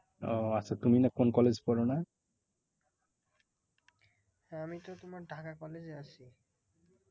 হ্যাঁ আমি তো তোমার ঢাকা college এ আছি।